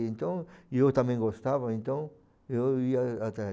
Então, eu também gostava, então, eu ia atrás.